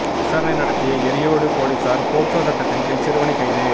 விசாரணை நடத்திய எரியோடு போலீசார் போக்சோ சட்டத்தின் கீழ் சிறுவனை கைது